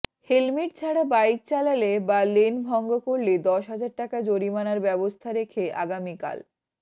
helmet ছাড়া bike চালালে বা লেন ভঙ্গ করলে দশ হাজার টাকা জরিমানার ব্যবস্থা রেখে আগামীকাল